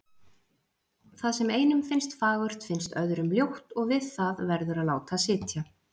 Það sem einum finnst fagurt finnst öðrum ljótt, og við það verður að láta sitja.